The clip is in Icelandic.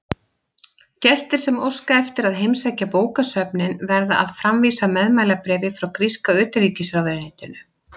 Gestir sem óska eftir að heimsækja bókasöfnin verða að framvísa meðmælabréfi frá gríska utanríkisráðuneytinu.